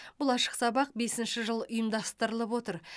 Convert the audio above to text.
бұл ашық сабақ бесінші жыл ұйымдастырылып отыр